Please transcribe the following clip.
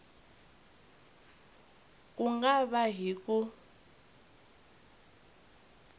ku nga va hi ku